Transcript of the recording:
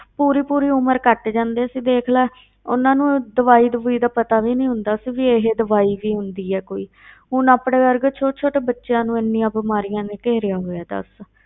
ਪੂਰੀ ਪੂਰੀ ਉਮਰ ਕੱਟ ਜਾਂਦੇ ਸੀ ਦੇਖ ਲੈ ਉਹਨਾਂ ਨੂੰ ਦਵਾਈ ਦਵੂਈ ਦਾ ਪਤਾ ਵੀ ਨੀ ਹੁੰਦਾ ਸੀ, ਵੀ ਇਹ ਦਵਾਈ ਵੀ ਹੁੰਦੀ ਹੈ ਕੋਈ ਹੁਣ ਆਪਣੇ ਵਰਗੇ ਛੋਟੇ ਛੋਟੇ ਬੱਚਿਆਂ ਨੂੰ ਇੰਨੀਆਂ ਬਿਮਾਰੀਆਂ ਨੇ ਘੇਰਿਆ ਹੋਇਆ ਦੱਸ।